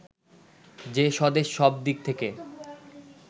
যে স্বদেশ সব দিক থেকে